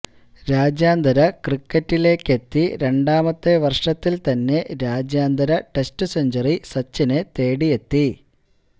രാജ്യാന്തര ക്രിക്കറ്റിലേക്കെത്തി രണ്ടാമത്തെ വര്ഷത്തില് തന്നെ രാജ്യാന്തര ടെസ്റ്റ് സെഞ്ചുറി സച്ചിനെ തേടിയെത്തി